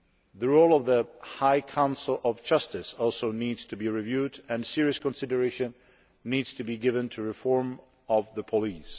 The role of the High Council of Justice also needs to be reviewed, and serious consideration needs to be given to reform of the police.